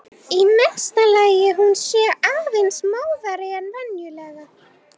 Í mesta lagi hún sé aðeins móðari en venjulega.